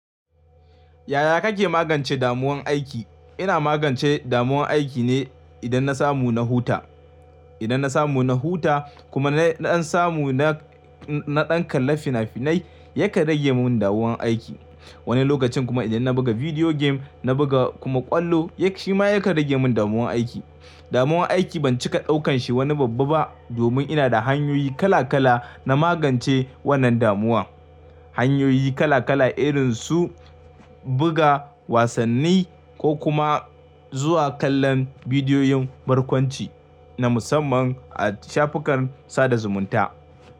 Yaya kake magance damuwan aiki? Ina magance damuwan aiki ne idan na samu na huta. Idan na samu na huta kuma na samu na ɗan kalla fina-finai yakan rage min damuwan aiki. Wani lokacin kuma idan na buga video game na buga kuma ƙwallo shi ma yakan rage min damuwan aiki. Damuwan aiki ban cika ɗaukan shi wani babba ba domin ina da hanyoyi kala kala na magance wannan damuwa. Hanyoyi kala kala irin su buga wasanni ko kuma zuwa kallon bidiyoyin barkwanci na musamman a shafukan sada zumunta.